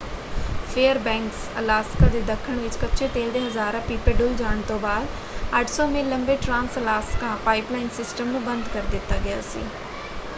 Fairbanks Alaska ਦੇ ਦੱਖਣ ਵਿੱਚ ਕੱਚੇ ਤੇਲ ਦੇ ਹਜ਼ਾਰਾਂ ਪੀਪੇ ਡੁੱਲ੍ਹ ਜਾਣ ਤੋਂ ਬਾਅਦ 800 ਮੀਲ ਲੰਬੇ ਟ੍ਰਾਂਸ ਅਲਾਸਕਾ ਪਾਈਪਲਾਈਨ ਸਿਸਟਮ ਨੂੰ ਬੰਦ ਕਰ ਦਿੱਤਾ ਗਿਆ ਸੀ।